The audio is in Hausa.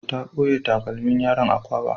Ta ɓoye takalmin yaron a kwaba.